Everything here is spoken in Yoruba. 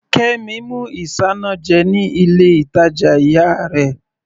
Kemi mú isanaje ní ilé ìtàjà ìyá rẹ̀.